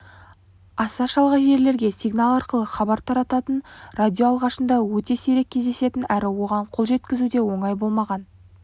аса шалғай жерлерге сигнал арқылы хабар тарататын радио алғашында өте сирек кездесетін әрі оған қол жеткізу де оңай болмаған